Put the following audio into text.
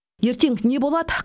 ертең не болады